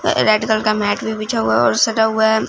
Red colour का mat भी बिछा हुआ है और सजा हुआ है।